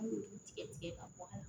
An b'olu tigɛ tigɛ ka bɔ a la